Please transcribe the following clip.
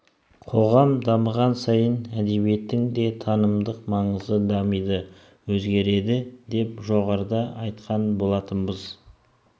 қоғам дамыған сайын әдебиеттің де танымдық маңызы дамиды өзгереді деп жоғарыда айтқан болатынбыз